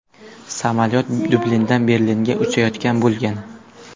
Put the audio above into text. Samolyot Dublindan Berlinga uchayotgan bo‘lgan.